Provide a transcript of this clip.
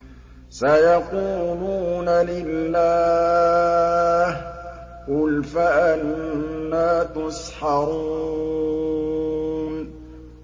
سَيَقُولُونَ لِلَّهِ ۚ قُلْ فَأَنَّىٰ تُسْحَرُونَ